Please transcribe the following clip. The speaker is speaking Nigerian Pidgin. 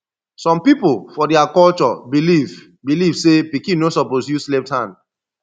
some people for dia culture believe believe say pikin no suppose use left hand